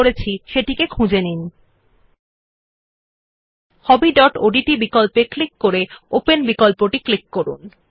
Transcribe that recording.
নথি যা আমরা তৈরি করেছে একসেস উপর ক্লিক করুনLet us now click on the desktop option in the dialog box to access the new document which we had created